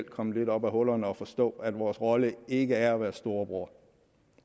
komme lidt op af hullerne og forstå at vores rolle ikke er at være storebror